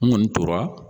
N kɔni tora